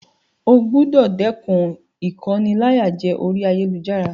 O gbúdọ̀ dẹ́kun ìkóniláyàjẹ orí ayélujára.